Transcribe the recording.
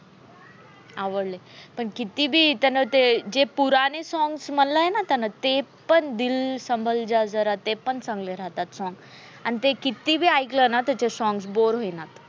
आवडलंय पण किती बी त्यान ते जे पुराने songs म्हणले आहे ना त्यान ते पण दिल संभल जा जरा ते पण चांगले राहतात. song आणि ते कितीबी ऐकलं ना त्याचे songs bore होईना.